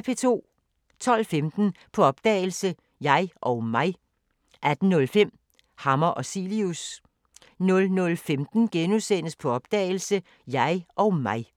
12:15: På opdagelse – Jeg og mig 18:05: Hammer og Cilius 00:15: På opdagelse – Jeg og mig *